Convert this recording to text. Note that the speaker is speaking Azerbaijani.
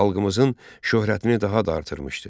Xalqımızın şöhrətini daha da artırmışdı.